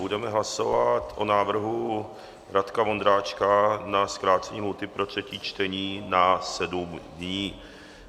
Budeme hlasovat o návrhu Radka Vondráčka na zkrácení lhůty pro třetí čtení na sedm dní.